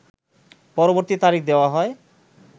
পরবর্তী তারিখ দেওয়া হয়